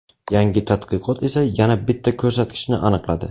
Yangi tadqiqot esa yana bitta ko‘rsatkichni aniqladi.